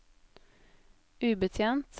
ubetjent